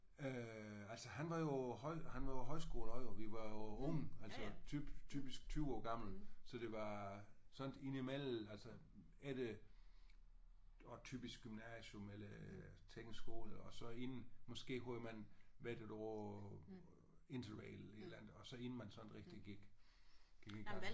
Øh altså han var jo på høj han var jo på højskole også jo vi var jo unge altså typisk 20 år gamle så det var sådan indimellem altså er det nok typisk gymnasium eller teknisk skole og så inden måske havde man været 1 år på interrail et eller andet og så inden man sådan rigtigt gik gik i gang